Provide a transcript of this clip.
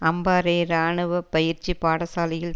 அம்பாறை இராணுவ பயிற்சி பாடசாலையில்